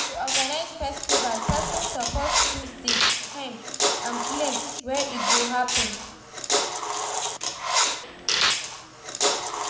To organize festival persin suppose choose date, time and place wey e go happen